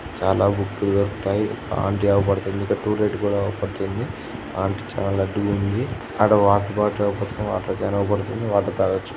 చాలా బుక్ లు దొరుకుతాయి ఆంటీ అవుపడుతుంది ఇక్కడ టు లేట్ కూడా అవుపడుతుంది ఆంటీ చాలా లడ్డు గా ఉంది అక్కడ వాటర్ బాటిల్ అవుపడుతుంది వాటర్ కాన్ అవుపడుతుంది.